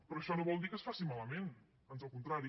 però això no vol dir que es faci malament ans al contrari